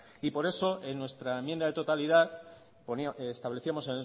por eso en nuestra enmienda a la totalidad establecíamos